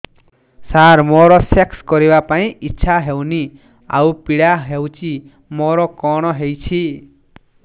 ସାର ମୋର ସେକ୍ସ କରିବା ପାଇଁ ଇଚ୍ଛା ହଉନି ଆଉ ପୀଡା ହଉଚି ମୋର କଣ ହେଇଛି